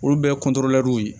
Olu bɛɛ ye